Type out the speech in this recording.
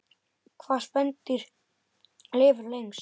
Hvaða spendýr lifir lengst?